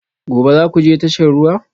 Gobe ​​za ku je tashar ruwa?